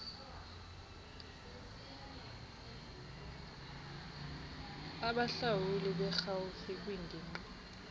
abahlawuli berhafu kwingingqi